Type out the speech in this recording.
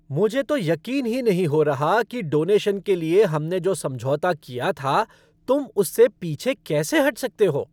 मुझे तो यकीन ही नहीं हो रहा कि डोनेशन के लिए हमने जो समझौता किया था, तुम उससे पीछे कैसे हट सकते हो।